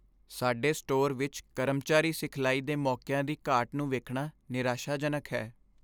ਸਾਡੇ ਸਟੋਰ ਵਿੱਚ ਕਰਮਚਾਰੀ ਸਿਖਲਾਈ ਦੇ ਮੌਕਿਆਂ ਦੀ ਘਾਟ ਨੂੰ ਵੇਖਣਾ ਨਿਰਾਸ਼ਾਜਨਕ ਹੈ।